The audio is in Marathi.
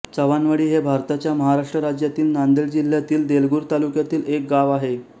चव्हाणवाडी हे भारताच्या महाराष्ट्र राज्यातील नांदेड जिल्ह्यातील देगलूर तालुक्यातील एक गाव आहे